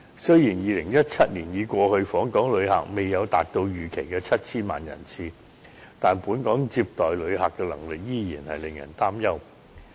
雖然2017年已過去，訪港旅客未有達到預期的 7,000 萬人次，但本港接待旅客的能力依然令人擔憂。